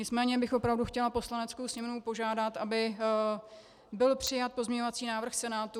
Nicméně bych opravdu chtěla Poslaneckou sněmovnu požádat, aby byl přijat pozměňovací návrh Senátu.